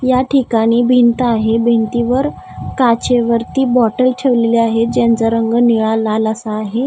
या ठिकाणी भिंत आहे. भिंतीवर काचेवरती बॉटल ठेवलेले आहे ज्यांचा रंग निळा लाल असा आहे.